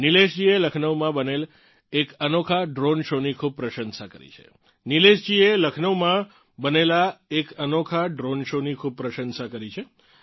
નિલેશજીએ લખનૌમાં બનેલ એક અનોખા દ્રોણે શો ની ખૂબ પ્રશંસા કરી છે